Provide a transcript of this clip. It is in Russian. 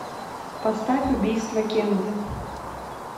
поставь убийство кеннеди